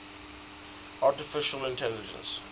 artificial intelligence